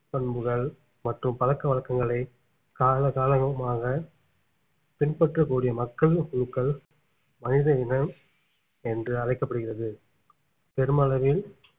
பண்புகள் மற்றும் பழக்க வழக்கங்களை கால காலங்கமாக பின்பற்றக்கூடிய மக்கள் குழுக்கள் மனித இனம் என்று அழைக்கப்படுகிறது பெருமளவில்